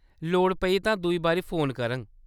लोड़ पेई तां दूई बारी फोन करङ।